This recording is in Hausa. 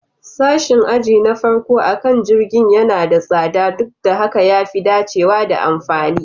Sashin aji na farko akan jirgin yana da tsada, duk da haka ya fi dacewa da amfani